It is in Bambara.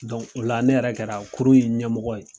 o la ne yɛrɛ kɛra kurun in ɲɛmɔgɔ ye.